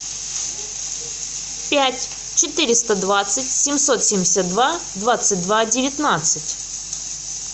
пять четыреста двадцать семьсот семьдесят два двадцать два девятнадцать